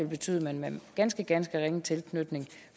betyde at man med ganske ganske ringe tilknytning